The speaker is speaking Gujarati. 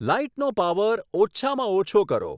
લાઈટનો પાવર ઓછામાં ઓછો કરો